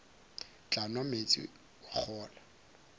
tla nwa meetse wa kgolwa